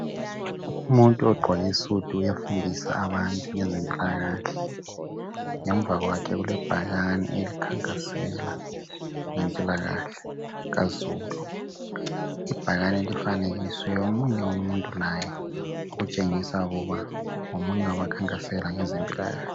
Umuntu ogqoke isudu uyafundisa abantu ngezempilakahle ngemva kwakhe kulebhakane elikhankasela ngempilakahle kazulu ibhakane lifanekiswe omunye umuntu laye okutshengisa ukuba ngomunye wabakhankasela ngezempilakahle .